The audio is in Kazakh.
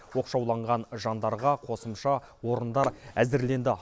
оқшауланған жандарға қосымша орындар әзірленді